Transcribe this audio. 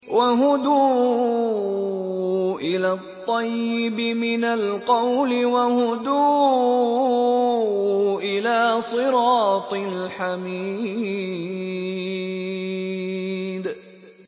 وَهُدُوا إِلَى الطَّيِّبِ مِنَ الْقَوْلِ وَهُدُوا إِلَىٰ صِرَاطِ الْحَمِيدِ